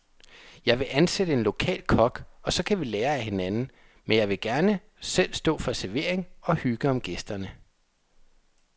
Jeg vil ansætte en lokal kok, og så kan vi lære af hinanden, men jeg vil gerne selv stå for servering og hygge om gæsterne.